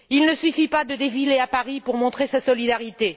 Il ne suffit pas de défiler à Paris pour montrer sa solidarité.